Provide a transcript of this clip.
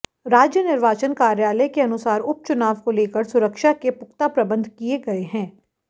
राज्य निर्वाचन कार्यालय के अनुसार उपचुनाव को लेकर सुरक्षा के पुख्ता प्रबंध किए गए हैं